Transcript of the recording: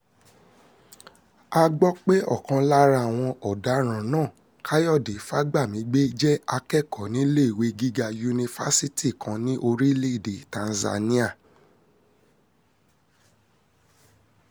a gbọ́ pé ọ̀kan lára àwọn ọ̀daràn náà káyọ̀dé fagbamigbe jẹ́ akẹ́kọ̀ọ́ níléèwé gíga yunifásitì kan ní orílẹ̀‐èdè tanzania